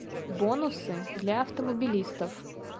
бонусы для автомобилистов